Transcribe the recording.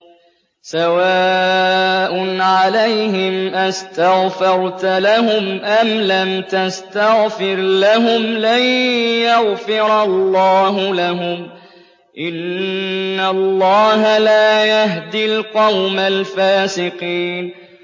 سَوَاءٌ عَلَيْهِمْ أَسْتَغْفَرْتَ لَهُمْ أَمْ لَمْ تَسْتَغْفِرْ لَهُمْ لَن يَغْفِرَ اللَّهُ لَهُمْ ۚ إِنَّ اللَّهَ لَا يَهْدِي الْقَوْمَ الْفَاسِقِينَ